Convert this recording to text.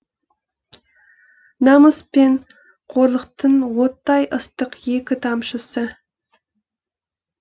намыс пен қорлықтың оттай ыстық екі тамшысы